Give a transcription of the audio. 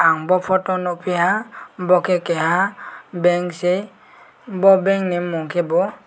ang bo photo nugpiaha bo ke keha bank si bo bank ni bung ke bo.